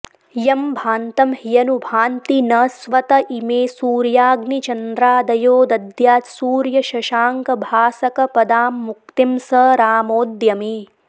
यं भान्तं ह्यनुभान्ति न स्वत इमे सूर्याग्निचन्द्रादयो दद्यात् सूर्यशशाङ्कभासकपदां मुक्तिं स रामोऽद्य मे